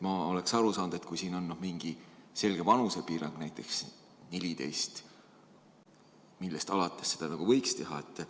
Ma saaks aru, kui siin oleks mingi selge vanusepiirang, näiteks alates 14. eluaastast.